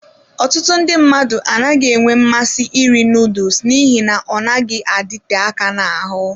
Ọtụtụ ndị mmadụ anaghị enwe mmasị iri noodles n'ihi na ọ naghị adịte aka n'ahụ.